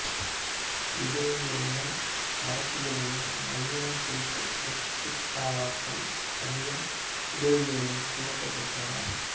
இதழியலிலும் அரசியலிலும் நவீனம் குறித்த கருத்தாக்கங்கள் தமிழன் இதழிலிருந்தே துவக்கம் பெற்றன